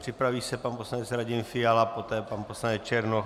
Připraví se pan poslanec Radim Fiala, poté pan poslanec Černoch.